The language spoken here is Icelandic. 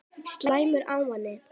Slæmur ávani